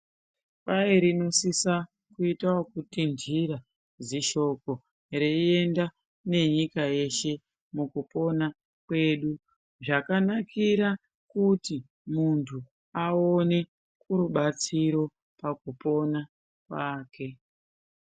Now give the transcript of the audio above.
Kwai rinosisa uito okutinhira zishoko reienda nenyika yeshe mukupona zvakanakira kuti muntu aone rubatsiro pakupona kwake